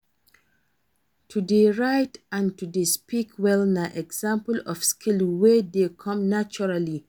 To de write and to de speak well na example of skill wey de come naturally